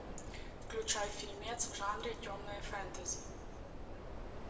включай фильмец в жанре темное фэнтези